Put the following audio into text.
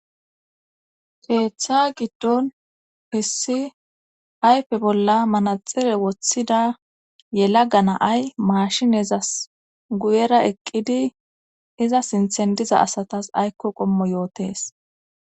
Keetha giddon hessi ayfe bolla manaxxire wothda yalaga na7ay maashinezas gyera eqqidi iza sinthen diza asata aykko qommoyootes